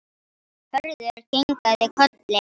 Hörður kinkaði kolli.